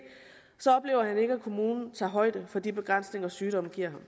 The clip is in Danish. kommunen tager højde for de begrænsninger sygdommen giver